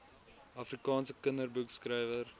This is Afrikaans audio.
afrikaanse kinderboekskrywer